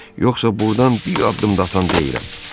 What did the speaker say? Yoxsa burdan bir addım da atan deyiləm.